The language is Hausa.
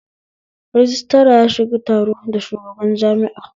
Rajistira ya shiga taro da shugaban jami'a